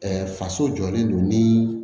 faso jɔlen don ni